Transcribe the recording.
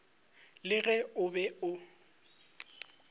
le ge o be o